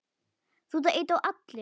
Hvernig komstu hingað?